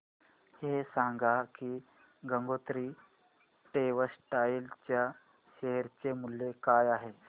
हे सांगा की गंगोत्री टेक्स्टाइल च्या शेअर चे मूल्य काय आहे